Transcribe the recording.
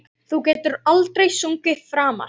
Þú getur aldrei sungið framar